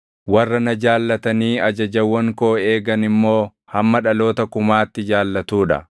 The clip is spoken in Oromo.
warra na jaallatanii ajajawwan koo eegan immoo hamma dhaloota kumaatti jaallatuu dha.